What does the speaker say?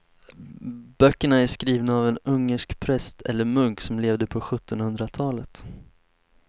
Böckerna är skrivna av en ungersk präst eller munk som levde på sjuttonhundratalet.